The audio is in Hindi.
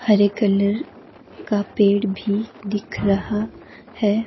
हरे कलर का पेड़ भी दिख रहा है।